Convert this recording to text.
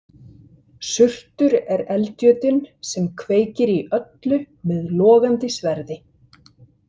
Surtur er eldjötunn sem kveikir í öllu með logandi sverði.